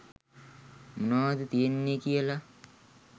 මොනාද තියෙන්නෙ කියලා.